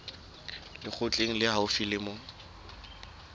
lekgotleng le haufi le moo